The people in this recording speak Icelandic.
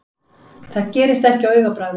Það gerist ekki á augabragði.